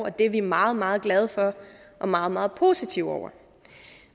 og det er vi meget meget glade for og meget meget positive over